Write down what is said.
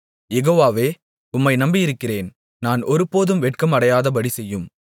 யெகோவாவே உம்மை நம்பியிருக்கிறேன் நான் ஒருபோதும் வெட்கம் அடையாதபடி செய்யும்